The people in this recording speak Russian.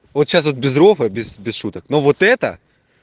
вот сейчас вот без рофла без шуток ну вот это